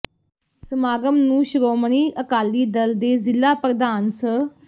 ਸਮਾਗਮ ਨੂੰ ਸ਼੍ਰੋਮਣੀ ਅਕਾਲੀ ਦਲ ਦੇ ਜ਼ਿਲਾ ਪ੍ਰਧਾਨ ਸ